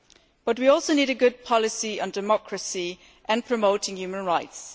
But we also need a good policy on democracy and promoting human rights.